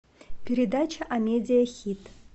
передача амедиа хит